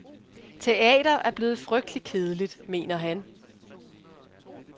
Teater er blevet frygtelig kedeligt, mener han.